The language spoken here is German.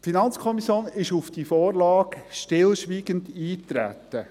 Die FiKo ist auf die Vorlage stillschweigend eingetreten.